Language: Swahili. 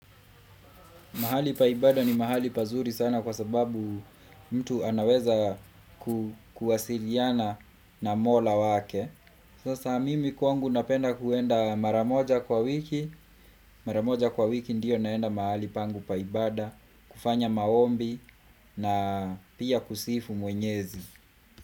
Mahali pa ibada ni mahali pazuri sana kwa sababu mtu anaweza kuwasiliana na mola wake. Sasa mimi kwangu napenda kuenda mara moja kwa wiki. Mara moja kwa wiki ndio naenda mahali pangu pa ibada, kufanya maombi na pia kusifu mwenyezi.